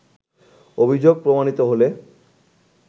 অভিযোগ প্রমাণিত হলে